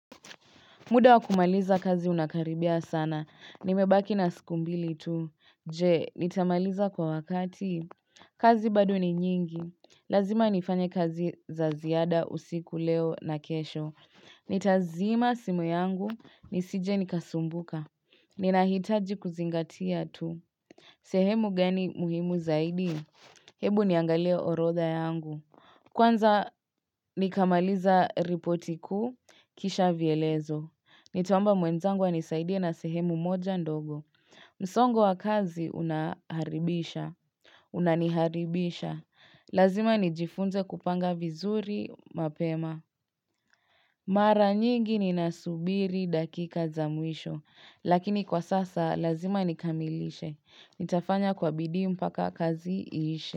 Muda wakumaliza kazi unakaribia sana. Nimebaki na siku mbili tu. Je, nitamaliza kwa wakati. Kazi bado ni nyingi. Lazima nifanye kazi za ziada usiku leo na kesho. Nitazima simu yangu, nisije nikasumbuka. Ninahitaji kuzingatia tu. Sehemu gani muhimu zaidi. Hebu niangalie orotha yangu. Kwanza nikamaliza ripoti kuu, kisha vielezo. Nitaomba mwenzangu anisaidia na sehemu moja ndogo. Msongo wa kazi unaharibisha. Unaniharibisha. Lazima nijifunze kupanga vizuri mapema. Mara nyigi ninasubiri dakika za mwisho. Lakini kwa sasa lazima nikamilishe. Nitafanya kwa bidii mpaka kazi ishe.